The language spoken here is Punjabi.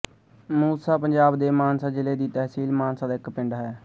ਮੂਸਾ ਪੰਜਾਬ ਦੇ ਮਾਨਸਾ ਜ਼ਿਲ੍ਹੇ ਦੀ ਤਹਿਸੀਲ ਮਾਨਸਾ ਦਾ ਇੱਕ ਪਿੰਡ ਹੈ